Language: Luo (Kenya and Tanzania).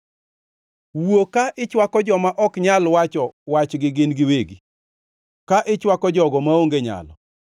Wuo ka ichwako joma ok nyal wacho wachgi gin giwegi, ka ichwako jogo maonge nyalo.